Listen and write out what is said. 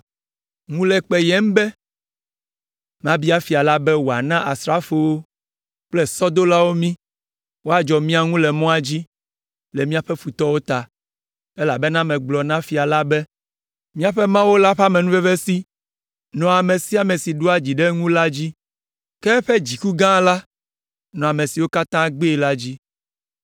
Ŋu le kpeyem be mabia fia la be wòana asrafowo kple sɔdolawo mí, woadzɔ mía ŋu le mɔa dzi le míaƒe futɔwo ta, elabena megblɔ na fia la be, “Míaƒe Mawu la ƒe amenuvevesi nɔa ame sia ame si ɖoa dzi ɖe eŋu la dzi, ke eƒe dziku gã la nɔa ame siwo katã gbee la dzi.”